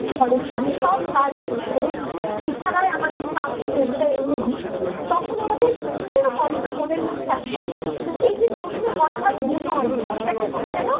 ঘরে ফিরি সব কাজ শেষ করে বিছানায় আমাদের ক্লান্ত দেহ টা এলিয়ে দি তখন আমাদের বিভিন্ন কথা মনের মধ্যে আসে এই যে বিভিন্ন কথার গুণন এটাকে কবি যেন